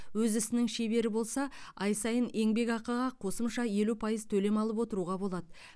өз ісінің шебері болса ай сайын еңбекақыға қосымша елу пайыз төлем алып отыруға болады